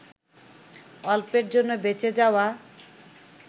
অল্পের জন্য বেঁচে যাওয়া